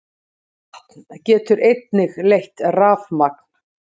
Vatn getur einnig leitt rafmagn.